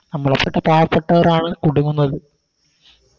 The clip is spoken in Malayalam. നമ്മളെപ്പെട്ട പാവപ്പെട്ടവരാണ് കുടുങ്ങുന്നത്